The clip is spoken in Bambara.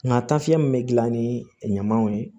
Nka tafe min be gilan ni ɲamanw ye